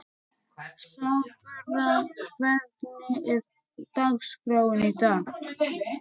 Sakura, hvernig er dagskráin í dag?